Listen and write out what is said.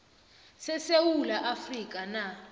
sesewula afrika na